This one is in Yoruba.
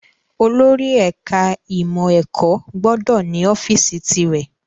Olùdarí ẹ̀ka ìmọ̀ ẹ̀kọ́ gbọ́dọ̀ ní ọ́fíìsì tìrẹ